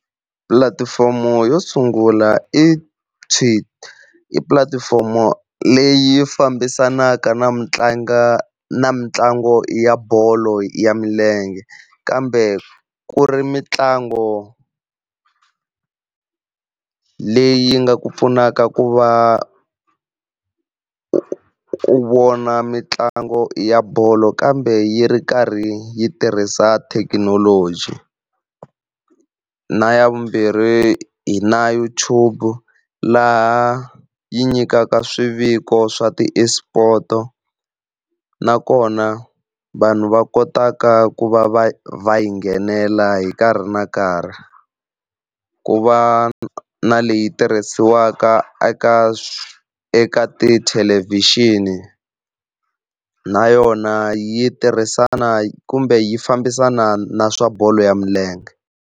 Pulatifomo yo sungula Tweet, i pulatifomo leyi fambisanaka na mitlango na mitlangu ya bolo ya milenge, kambe ku ri mintlango leyi nga ku pfunaka ku va u vona mitlango ya bolo kambe yi ri karhi yi tirhisa thekinoloji. Na ya vumbirhi hi na YouTube laha yi nyikaka swiviko swa ti-Esport nakona vanhu va kotaka ku va va va yi nghenela hi nkarhi na nkarhi. Ku va na na leyi tirhisiwaka eka eka tithelevhixini na yona yi tirhisana kumbe yi fambisana na swa bolo ya milenge.